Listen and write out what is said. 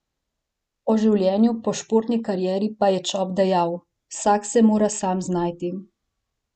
O življenju po športni karieri pa je Čop dejal: 'Vsak se mora sam znajti.